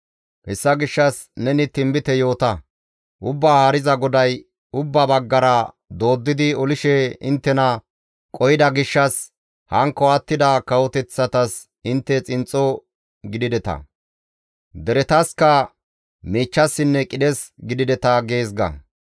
Hessa gishshas neni tinbite yoota; Ubbaa Haariza GODAY, ‹Ubbaa baggara dooddidi olishe inttena qohida gishshas hankko attida kawoteththatas intte xinxxo gidideta; deretasikka miichchassinne qidhes gidideta› gees ga.